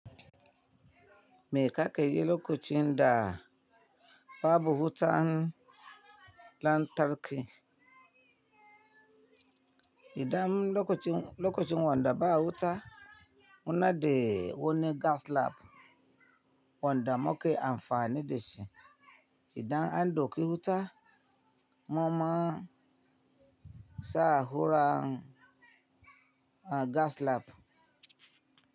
Me ka ke yi lokacin da babu wutan lantarki? Idan lokaci lakacin wanda ba wuta, muna de wani gas lab. Wanda muke amfani de shi. Idan an doki huta, maman sa hura gas lab.